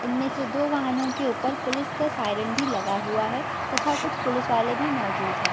इनमें से दो वाहनों के ऊपर पुलिस का सायरन भी लगा हुआ है तथा कुछ पुलिस वाले भी मोजूद हैं।